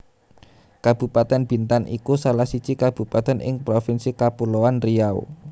Kabupatèn Bintan iku salah siji kabupatèn ing Provinsi Kapuloan Riau